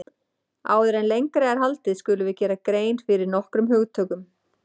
Áður en lengra er haldið skulum við gera grein fyrir nokkrum hugtökum.